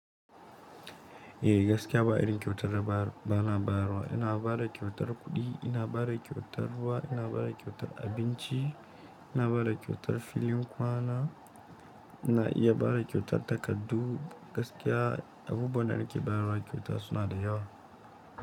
Eh gaskiya ba a irin kyautar da ba, bana bawa. Ina ba da kyautar kuɗi, ina ba da kyautar ruwa, ina ba da kyautar abinci, ina ba da kyautar filin kwana, na iya ba da kyautar takardu. Gaskiya abubuwan da nake bayarwa kyauta suna da yawa.